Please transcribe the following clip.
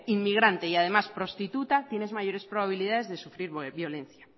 inmigrante y además prostituta tienes mayores probabilidades de sufrir violencia